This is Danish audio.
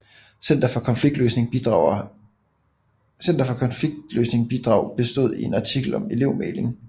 Center for Konfliktløsning bidrag bestod i en artikel om elevmægling